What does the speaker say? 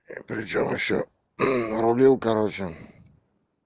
причём ещё рулил короче